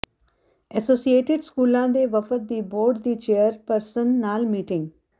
associated ਸਕੂਲਾਂ ਦੇ ਵਫ਼ਦ ਦੀ ਬੋਰਡ ਦੀ ਚੇਅਰਪਰਸਨ ਨਾਲ ਮੀਟਿੰਗ